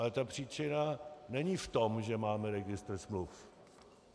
Ale ta příčina není v tom, že máme registr smluv.